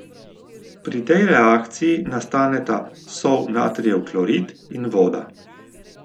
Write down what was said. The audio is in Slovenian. Pri tej reakciji nastaneta sol natrijev klorid in voda.